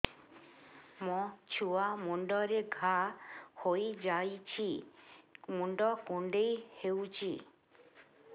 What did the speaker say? ମୋ ଛୁଆ ମୁଣ୍ଡରେ ଘାଆ ହୋଇଯାଇଛି ମୁଣ୍ଡ କୁଣ୍ଡେଇ ହେଉଛି